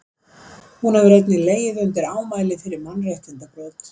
hún hefur einnig legið undir ámæli fyrir mannréttindabrot